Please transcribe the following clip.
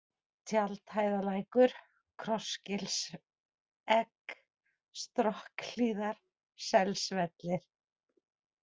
Tjaldhæðarlækur, Krossgilsegg, Strokkhlíðar, Selsvellir